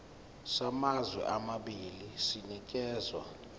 samazwe amabili sinikezwa